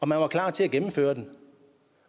man var klar til at gennemføre den